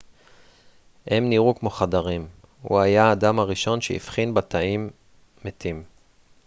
הם נראו כמו חדרים הוא היה האדם הראשון שהבחין בתאים מתים